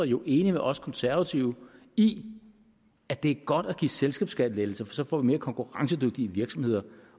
jo enige med os konservative i at det er godt at give selskabsskattelettelser for så får vi mere konkurrencedygtige virksomheder